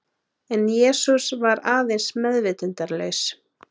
En Jesús var aðeins meðvitundarlaus.